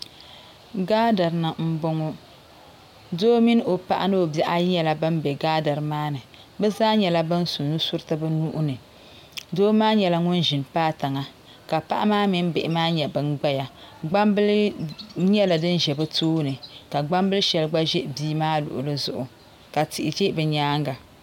Gaadiri aani m bɔŋɔ doo mini o paɣa ni o bihi ayi nyɛla ban be gaadiri maa ni bɛ zaa nyɛla ban su nusuriti. bɛ nuhi ni doo maa nyɛla ŋun ʒini paai tiŋa ka paɣa mini bihi maa nyɛ ban gbaya gbambili nyɛla din za bɛ tooni ka gbambili sheli gba za bii maa luɣuli zuɣu ka tihi be bɛ nyaanga.